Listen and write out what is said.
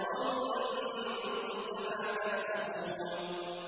نَسْخَرُ مِنكُمْ كَمَا تَسْخَرُونَ